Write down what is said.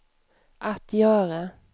att göra